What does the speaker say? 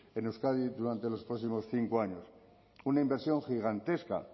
en euskadi durante los próximos cinco años una inversión gigantesca